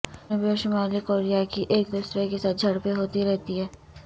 جنوبی اور شمالی کوریا کی ایک دوسرے کے ساتھ جھڑپیں ہوتی رہتی ہیں